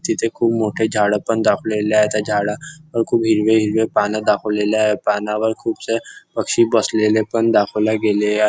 तिथे खूप मोठे झाडं पण दाखविले आहे त्या झाडा पण खूप हिरवे हिरवे पान दाखवलेले आहे पानावर खुपसे पक्षी बसलेले पण दाखविले गेले आहे.